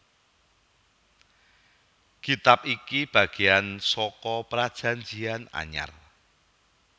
Kitab iki bagéyan saka Prajanjian Anyar